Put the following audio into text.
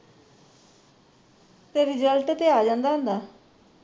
ਤੇ result ਤੇ ਆ ਜਾਂਦਾ ਹੁੰਦਾ